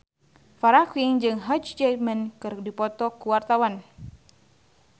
Farah Quinn jeung Hugh Jackman keur dipoto ku wartawan